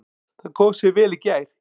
Það kom sér vel í gær.